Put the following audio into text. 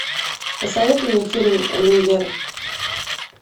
посоветуй мне фильм люмьеры